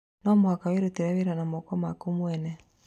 No mũhaka wĩrutĩre wĩra na moko maku mwene